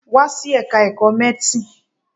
Wá sí Ẹ̀ka-ẹ̀kọ́ Medicine.